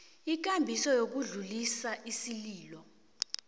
ikambiso yokudlulisa isililo